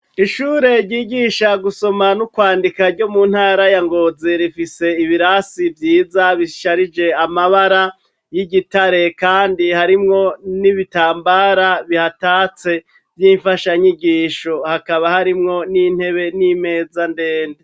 ishure ryigisha gusoma n'ukwandika ryo mu ntara ya Ngozi rifise ibirasi vyiza bisharije amabara y'igitare kandi harimwo n'ibitambara bihatatse vy'imfasha nyigisho hakaba harimwo n'intebe n'imeza ndende.